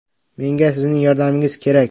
Menga sizning yordamingiz kerak.